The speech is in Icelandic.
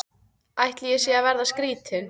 Ætli ég sé að verða skrýtin.